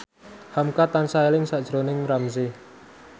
hamka tansah eling sakjroning Ramzy